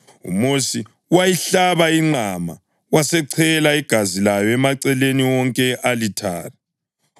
UMosi wayihlaba inqama, wasechela igazi layo emaceleni wonke e-alithare.